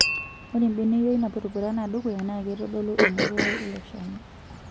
Ore mbeneyio na purupurana dukuya naa keitodolu emoruao eiloshani